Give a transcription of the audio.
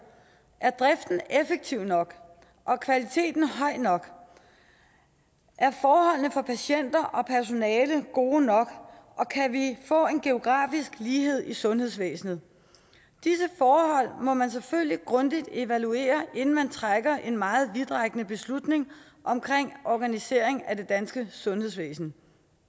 er driften effektiv nok er kvaliteten høj nok er forholdene for patienter og personale gode nok og kan vi få en geografisk lighed i sundhedsvæsenet disse forhold må man selvfølgelig grundigt evaluere inden man træffer en meget vidtrækkende beslutning om organisering af det danske sundhedsvæsen